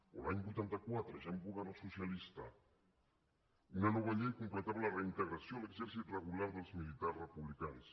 o l’any vuitanta quatre ja amb govern socialista una nova llei completava la reintegració a l’exercit regular dels militars republicans